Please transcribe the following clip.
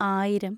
ആയിരം